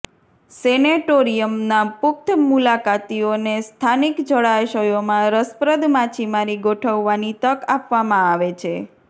સેનેટોરિયમના પુખ્ત મુલાકાતીઓને સ્થાનિક જળાશયોમાં રસપ્રદ માછીમારી ગોઠવવાની તક આપવામાં આવે છે